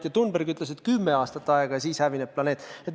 Ja Thunberg ütles, et meil on kümme aastat aega, ja siis planeet hävineb.